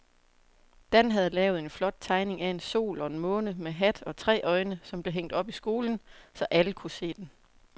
Dan havde lavet en flot tegning af en sol og en måne med hat og tre øjne, som blev hængt op i skolen, så alle kunne se den.